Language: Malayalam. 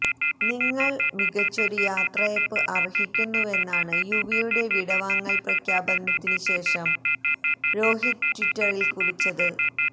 നിങ്ങള് മികച്ചൊരു യാത്രയയപ്പ് അര്ഹിക്കുന്നുവെന്നാണ് യുവിയുടെ വിടവാങ്ങല് പ്രഖ്യാപനത്തിന് ശേഷം രോഹിത് ട്വിറ്ററില് കുറിച്ചത്